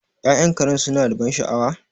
Ya'yan Karen suna da ban sha'awa?